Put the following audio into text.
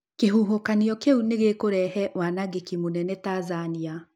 Kĩhuhũkanio kĩu nĩ gĩkũrehe wanangĩki mũnene Tanzania.